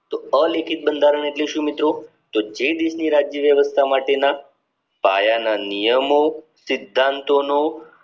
તો અલેખીત બંધારણ એટલે શું મિત્રો તો જે રીતે રાજ્ય વ્યવસ્થા માટેના પાયા ના નિયમો સિદ્ધાંતો નો